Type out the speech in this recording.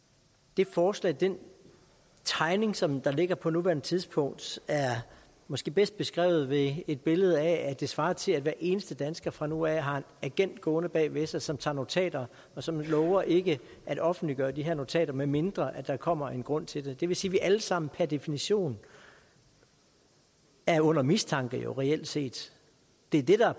det forslag den tegning som der ligger på nuværende tidspunkt er måske bedst beskrevet ved et billede af at det svarer til at hver eneste dansker fra nu af har en agent gående bag ved sig som tager notater og som lover ikke at offentliggøre de her notater medmindre der kommer en grund til det det vil sige at vi alle sammen per definition er under mistanke reelt set det er